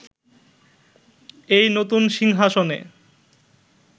এই নতুন সিংহাসনে